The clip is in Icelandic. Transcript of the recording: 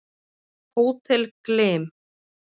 Hótel Glym